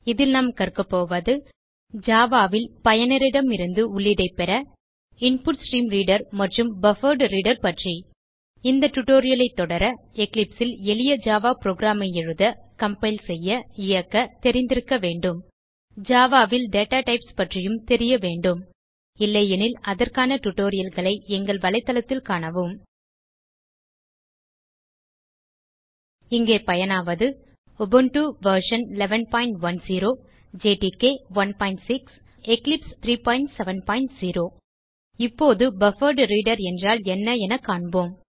இதில் நாம் கற்கப் போவது Javaல் பயனரிடமிருந்து உள்ளீடை பெற இன்புட்ஸ்ட்ரீம்ரீடர் மற்றும் பஃபர்ட்ரீடர் பற்றி இந்த டியூட்டோரியல் ஐ தொடர எக்லிப்ஸ் ல் எளிய ஜாவா புரோகிராம் ஐ எழுத கம்பைல் செய்ய இயக்க தெரிந்திருக்க வேண்டும் ஜாவா ல் டேட்டாடைப்ஸ் பற்றியும் தெரிய வேண்டும் இல்லையெனில் அதற்கான டியூட்டோரியல் களை எங்கள் வலைத்தளத்தில் காணவும் இங்கே பயனாவது உபுண்டு வி 1110 ஜேடிகே 16 மற்றும் எக்லிப்ஸ் இடே 370 இப்போது பஃபர்ட்ரீடர் என்றால் என்ன என காண்போம்